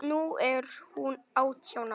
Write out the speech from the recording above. Nú er hún átján ára.